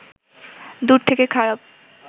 দূর থেকে খারাপ